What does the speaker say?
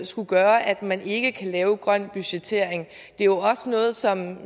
skulle gøre at man ikke kan lave grøn budgettering det er jo også noget som